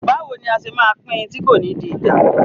Báwo ni a ṣe máa pín in tí kò ní di ìjà?